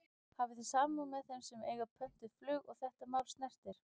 Hafi þið samúð með þeim sem að eiga pöntuð flug og þetta mál snertir?